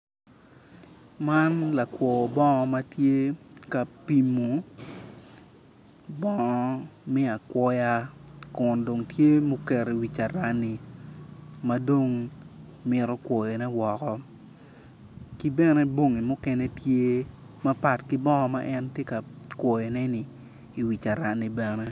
Man lakwo nongo matye ka pimo bongo me akwoya kun dong tye ma oketo i wi carani ma dong mito kwoyone woko ki bene bongi mukene tye mapat ki bongo ma en tye ka kwoyone-ni i wi carani bene